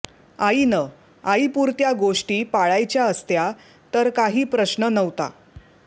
आईनं आईपुरत्या गोष्टी पाळायच्या असत्या तर काही प्रश्न नव्हता